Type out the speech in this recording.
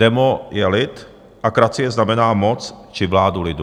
Demo je lid a kracie znamená moc či vládu lidu.